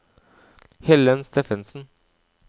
Helen Steffensen